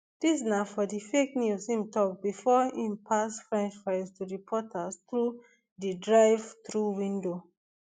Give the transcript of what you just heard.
dis na for di fake news im tok bifor im pass french fries to reporters through di drivethrough window